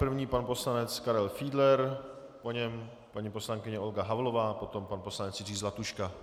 První pan poslanec Karel Fiedler, po něm paní poslankyně Olga Havlová, potom pan poslanec Jiří Zlatuška.